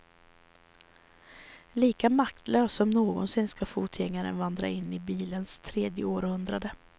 Lika maktlös som någonsin ska fotgängaren vandra in i bilistens tredje århundrade.